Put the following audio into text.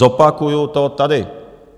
Zopakuji to tady.